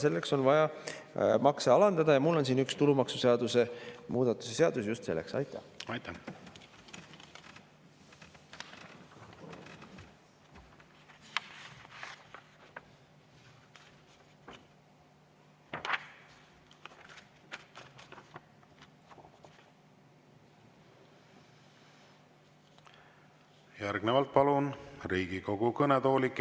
Selleks on vaja makse alandada ja mul on siin üks tulumaksuseaduse muudatuse seaduse, just selleks.